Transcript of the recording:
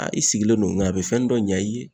Aa i sigilen don nga a be fɛnni dɔ ɲa i ye